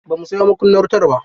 Ba mu sayo makunnanr wutar ba.